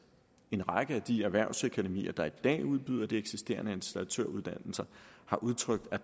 en række af de erhvervsakademier der i dag udbyder de eksisterende installatøruddannelser har udtrykt at